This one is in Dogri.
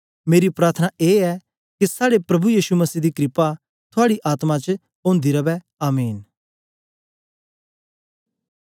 मेरी प्रार्थना ए ऐ के साड़े प्रभु यीशु मसीह दी क्रपा थुआड़ी आत्मा च ओंदा रवै आमीन